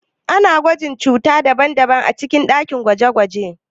Ana gwajin cuta daban-daban a cikin dakin gwaje-gwaje.